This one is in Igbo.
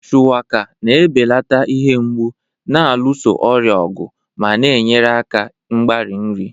Shuwaka na-ebelata ihe mgbu, na-alụso ọrịa ọgụ, ma na-enyere aka mgbari nri.